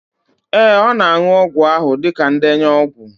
Ee, ọ ga-aṅụ ọgwụ ahụ dịka ndenye ọgwụ.